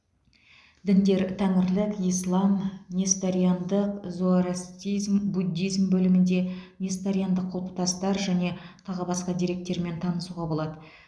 діндер тәңірлік ислам несториандық зороастризм буддизм бөлімінде несториандық құлпытастар және тағы басқа деректермен танысуға болады